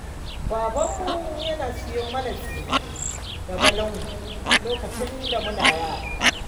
Babanmu yana siyo mana tsire da balangu lokacin da muna yara